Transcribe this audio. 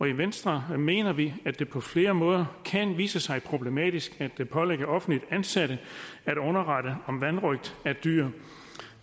i venstre mener vi at det på flere måder kan vise sig problematisk at pålægge offentligt ansatte at underrette om vanrøgt af dyr